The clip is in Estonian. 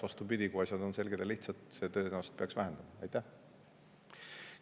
Vastupidi, kui asjad on selged ja lihtsad, siis see tõenäoliselt peaks vähendama.